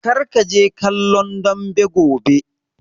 Kar kaje kallon dambe gobe!